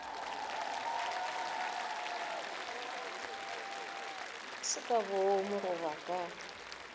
se ka boomo goba ka